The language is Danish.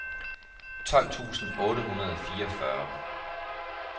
tolv tusind otte hundrede og fireogfyrre